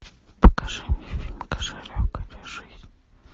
покажи мне фильм кошелек или жизнь